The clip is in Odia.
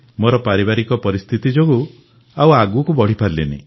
ମୋର ପାରିବାରିକ ପରିସ୍ଥିତି ଯୋଗୁଁ ଆଗକୁ ପଢ଼ିପାରିଲିନି